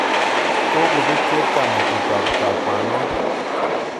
kokobet chepkama'tut tab kakwa'non